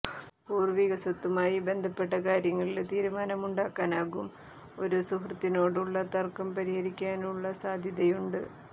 പൂര്വ്വിക സ്വത്തുമായി ബന്ധപ്പെട്ട കാര്യങ്ങളില് തീരുമാനമുണ്ടാക്കാനാകും ഒരു സുഹൃത്തിനോടുള്ള തര്ക്കം പരിഹരിക്കാനുള്ള സാധ്യതയുണ്ട്